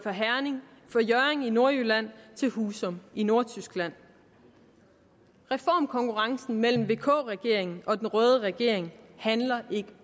fra hjørring i nordjylland til husum i nordtyskland reformkonkurrencen mellem vk regeringen og den røde regering handler ikke